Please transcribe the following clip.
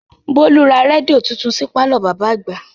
Bólú ra rédíò titun sí pàlọ́ bàbá àgbà